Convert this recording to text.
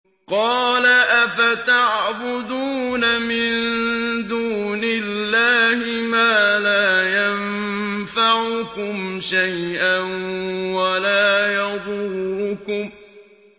قَالَ أَفَتَعْبُدُونَ مِن دُونِ اللَّهِ مَا لَا يَنفَعُكُمْ شَيْئًا وَلَا يَضُرُّكُمْ